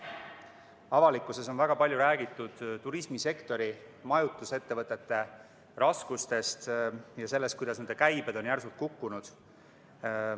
Avalikkuses on väga palju räägitud turismisektori, majutusettevõtete raskustest ja sellest, kuidas nende käibed on järsult kukkunud.